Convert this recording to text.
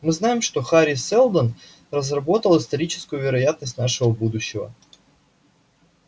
мы знаем что хари сэлдон разработал историческую вероятность нашего будущего